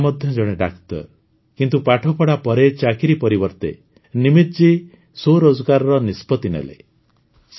ତାଙ୍କ ପିତା ମଧ୍ୟ ଜଣେ ଡାକ୍ତର କିନ୍ତୁ ପାଠପଢ଼ା ପରେ ଚାକିରି ପରିବର୍ତ୍ତେ ନିମିତ୍ ଜୀ ସ୍ୱରୋଜଗାରର ନିଷ୍ପତି ନେଲେ